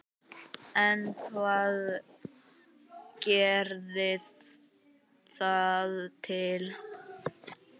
En hvað gerði það til?